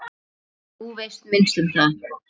Þú veist minnst um það.